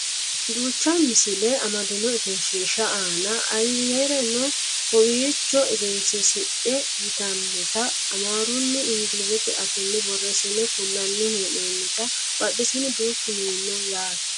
duucha misile amadino egenshiihshsi aana ayeereno kowiicho egensiisidhe yitannota amaarunna inglizete afiini borreessine kullanni hee'noonnite badhesiinni duuchu mini no yaate